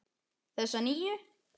Þessa nýju.